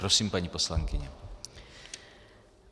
Prosím, paní poslankyně.